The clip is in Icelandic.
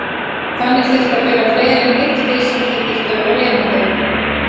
Þannig þyrfti að bera fleiri en einn fisk og þeir þyrftu að vera lifandi.